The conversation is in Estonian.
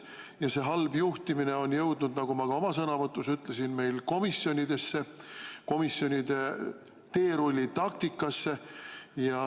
Ja see halb juhtimine on jõudnud, nagu ma ka oma sõnavõtus ütlesin, meil komisjonidesse, komisjonide teerullitaktikasse.